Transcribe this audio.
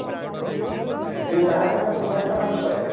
ସେ ପାହାଡ ଟାକୁ କୁମାରୀ ପାହାଡ ବୋଲି କୁହାଯାଏ